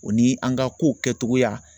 O ni an ka kow kɛcogoya